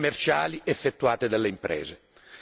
commerciali effettuate dalle imprese.